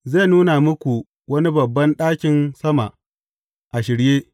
Zai nuna muku wani babban ɗakin sama a shirye.